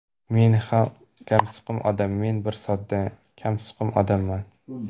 Men bir kamsuqum odam Men bir sodda, kamsuqum odamman.